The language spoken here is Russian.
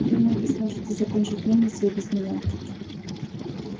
думаю вы сможете закончить мельницу и без меня